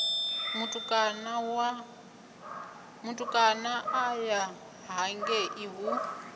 mutukana a ya hangei hu